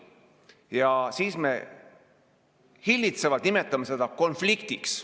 Ja siis me hillitsevalt nimetame seda konfliktiks.